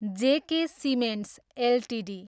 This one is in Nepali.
जे के सिमेन्ट्स एलटिडी